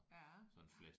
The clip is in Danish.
Ja